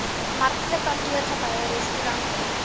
markte kantoorgeboue restaurante